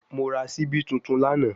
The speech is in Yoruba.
Mo ra sibi tuntun lana